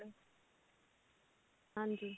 ਹਾਂਜੀ